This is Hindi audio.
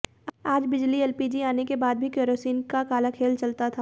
आज बिजली एलपीजी आने के बाद भी किरोसिन का काला खेल चलता था